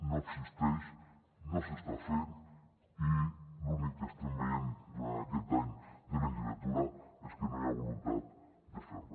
no existeix no s’està fent i l’únic que estem veient durant aquest any de legislatura és que no hi ha voluntat de fer·la